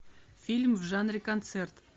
фильм в жанре концерт